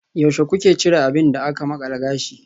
Yaushe kuka cire abin da aka makala gashi?